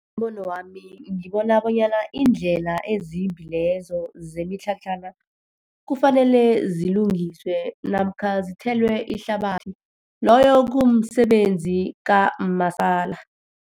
Ngombono wami, ngibona bonyana iindlela ezimbi lezo zemitlhatlhana, kufanele zilungiswe namkha zithelwe ihlabathi. Loyo kumsebenzi